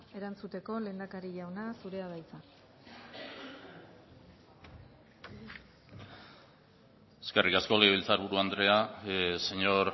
erantzuteko lehendakari jauna zurea da hitza eskerrik asko legebiltzarburu andrea señor